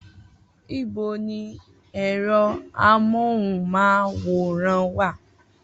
Ibo ni ẹ̀rọ amóhùnmáwòrán wà?